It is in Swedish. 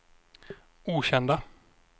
okända